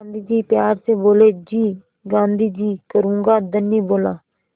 गाँधी जी प्यार से बोले जी गाँधी जी करूँगा धनी बोला